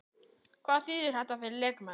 Hvað þýðir þetta fyrir leikmenn?